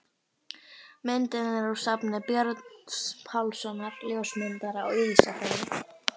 Myndin er úr safni Björns Pálssonar, ljósmyndara á Ísafirði.